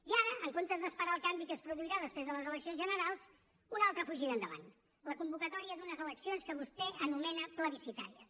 i ara en comptes d’esperar el canvi que es produirà després de les eleccions generals una altra fugida endavant la convocatòria d’unes eleccions que vostè anomena plebiscitàries